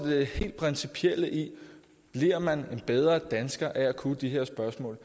det helt principielle i om man en bedre dansker af at kunne de her spørgsmål